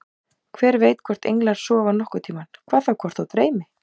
Hver veit hvort englar sofa nokkurn tímann, hvað þá hvort þá dreymir.